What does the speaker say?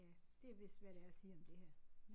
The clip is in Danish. Ja det vist hvad der er at sige om det her